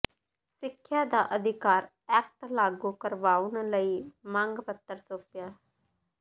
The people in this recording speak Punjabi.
ਸਿੱਖਿਆ ਦਾ ਅਧਿਕਾਰ ਐਕਟ ਲਾਗੂ ਕਰਵਾਉਣ ਲਈ ਮੰਗ ਪੱਤਰ ਸੌਂਪਿਆ